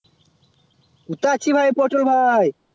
কোথায় আছি ভাই এই পছর বাভয়ে